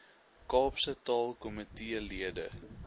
kaapse taalkomitee lede